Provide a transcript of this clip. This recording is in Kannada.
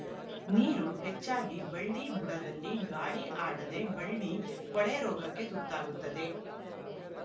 ನೀರು ಹೆಚ್ಚಾಗಿ ಬಳ್ಳಿ ಬುಡದಲ್ಲಿ ಗಾಳಿ ಆಡದೇ ಬಳ್ಳಿ ಕೊಳೆ ರೋಗಕ್ಕೆ ತುತ್ತಾಗುತ್ತದೆ